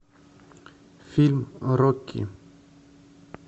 фильм рокки